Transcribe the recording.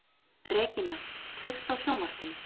Regína, kveiktu á sjónvarpinu.